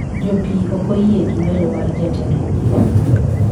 Jopiy okoyie gi welo mar jatend migepe